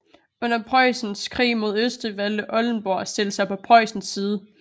Under Presussens krig mod Østrig valgte Oldenburg at stille sig på Preussens side